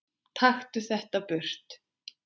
Taktu þetta burt!